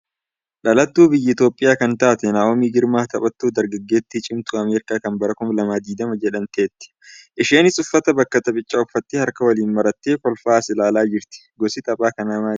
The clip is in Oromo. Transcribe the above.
Dhalattuu. biyya Itiyoophiyaa kan taate Naa'omii Girmaan taphattuu dargaggeettii cimtuu Ameerikaa kan bara 2020 jedhamteetti. Isheenis uffata bakka taphichaa uffattee harka waliin marattee kolfaa as ilaalaa jirti. Gosti tapha kanaa maalidha?